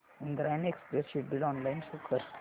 Indrayani express schedule online show कर